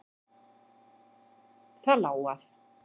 Það lá að.